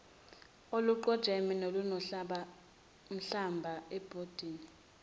oluqojeme nolunenhlamba ebhodini